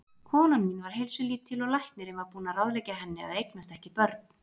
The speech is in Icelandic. Konan mín var heilsulítil og læknirinn var búinn að ráðleggja henni að eignast ekki börn.